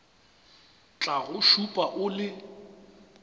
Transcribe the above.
tla go šupa o le